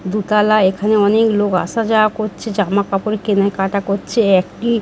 দুতলা এখানে অনেক লোক আসা যাওয়া করছে। জামাকাপড় কেনাকাটা করছে। একটি--